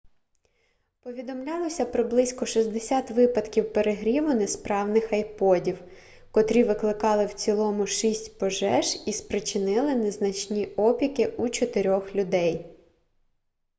повідомлялося про близько 60 випадків перегріву несправних айподів котрі викликали в цілому шість пожеж і спричинили незначні опіки у чотирьох людей